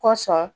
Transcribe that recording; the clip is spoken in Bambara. Kosɔn